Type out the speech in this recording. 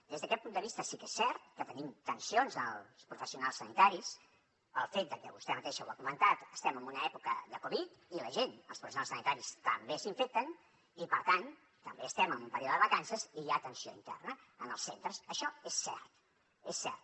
des d’aquest punt de vista sí que és cert que tenim tensions amb els professionals sanitaris pel fet que vostè mateixa ho ha comentat estem en una època de covid i la gent els professionals sanitaris també s’infecten i per tant també estem en període de vacances i hi ha tensió interna en els centres això és cert és cert